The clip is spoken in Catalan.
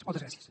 moltes gràcies